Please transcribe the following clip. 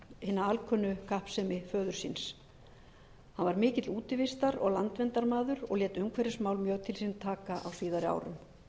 hina alkunnu kappsemi föður síns hann var mikill útivistar og landverndarmaður og lét umhverfismál mjög til sín taka á síðari árum